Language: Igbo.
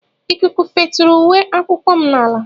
Ikuku feturu uwe akwụkwọ m n'ala